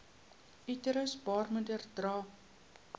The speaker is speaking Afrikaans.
uterus baarmoeder dra